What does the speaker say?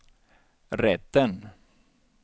rätten